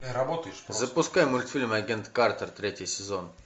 запускай мультфильм агент картер третий сезон